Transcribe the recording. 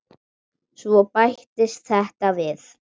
Svo bættist þetta við.